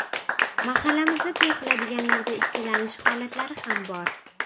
Mahallamizda to‘y qiladiganlarda ikkilanish holatlari ham bor.